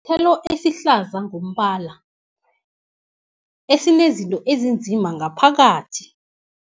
Sithelo esihlaza ngombala esinezinto ezinzima ngaphakathi.